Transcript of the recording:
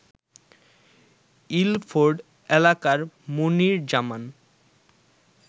Ilford এলাকার মনির জামান